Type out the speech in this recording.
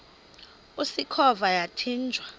usikhova yathinjw a